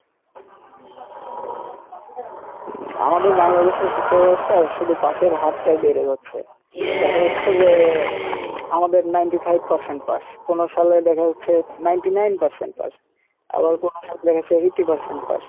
আমাদের বাংলাদেশে শিক্ষা ব্যাবস্থার শুধূ pass এর হার টাই বেরে যাচ্ছে দেখা যাচ্ছে যে আমাদের ninety five percent pass কোনো সালে দেখা যাচ্ছে ninety nine percent pass আবার কোনো সালে দেখা যাচ্ছে eighty percent pass